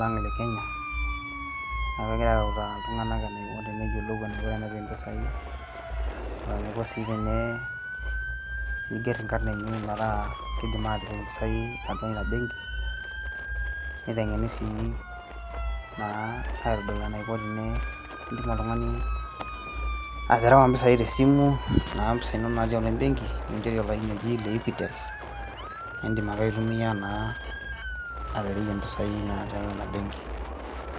lang le kenya niaku egirae autaa iltung'anak enaiko teneyiolou enaiko tenepik impisai o tenaiko sii tene, tenigerr inkarrn enye metaa kidim atipik impisai atua ina benki niteng'eni sii naa aitodol enaiko tene indim oltung'ani aterewa impisai tesimu naa impisai inonok natii atua embenki nikinchori olaini oji le equitel naindim ake aitumia naa atereyie impisai naa tiatua ina benki.